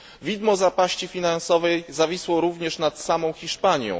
Widmo zapaści finansowej zawisło również nad samą Hiszpanią.